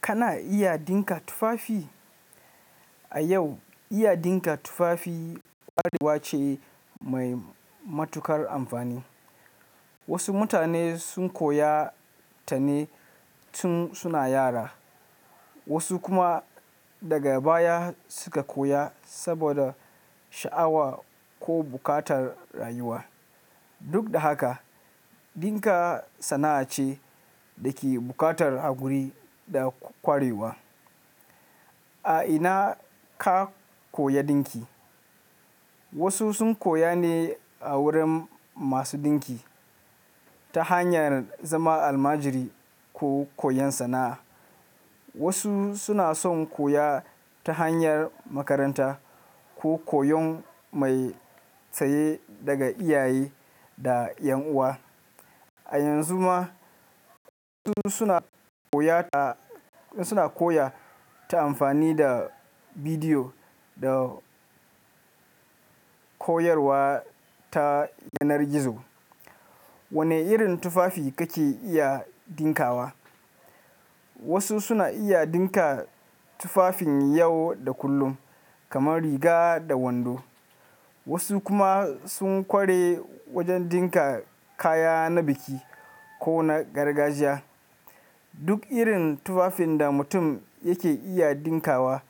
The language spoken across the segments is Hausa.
Kana iya dinka tufafi? A yau, iya dinka tufafi ƙwarewa ce mai matuƙar amfani. Wasu mutane sun koya ta ne tun suna yara, wasu kuma daga baya suka koya saboda sha'awa ko buƙatar rayuwa. Duk da haka, dinka sana'a ce da ke buƙatar haƙuri da ƙwarewa. A ina ka koya dinki? Wasu sun koya ne a wurin masu dinki, ta hanyar zama almajiri ko koyon sana'a. Wasu suna son koya ta hanyar makaranta ko koyon mai tsaye daga iyaye da ƴan uwa. A yanzu ma wasu suna koya ta amfani da bidiyo da koyarwa ta yanar gizo. Wane irin tufafi kake iya dinkawa? Wasu suna iya dinka tufafin yau da kullum kamar riga da wando. Wasu kuma sun ƙware wajen dinka kaya na biki ko na gargajiya. Duk irin tufafin da mutum yake iya dinkawa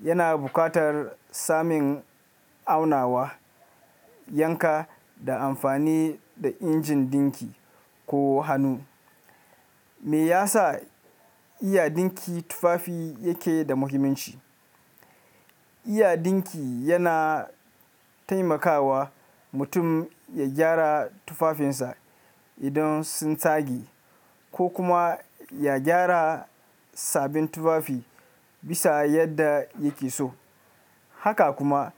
yana buƙatar samun aunawa, yanka da amfani da injin dinki ko hannu. Me ya sa iya dinki tufafi yake da muhimmanci? Iya dinki yana taimakawa mutum ya gyara tufafinsa idan sun tsage ko kuma ya gyara sabin tufafi bisa yadda yake so. Haka kuma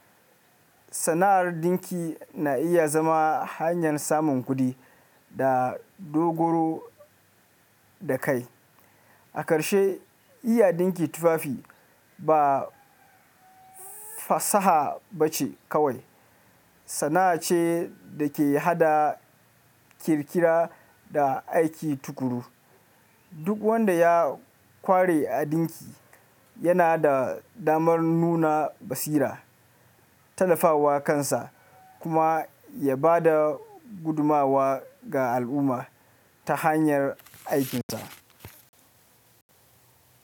sana'ar dinki na iya zama hanyar samun kuɗi da dogaro da kai. A ƙarshe, iya dinki tufafi ba fasaha bace kawai, sana'a ce da ke haɗa ƙirƙira da aiki tukuru. Duk wanda ya ƙware a dinki yana da damar nuna basira, tallafawa kansa kuma ya ba da gudumawa ga al'umma ta hanyar aikinsa.